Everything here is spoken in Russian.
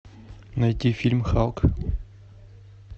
найти фильм халк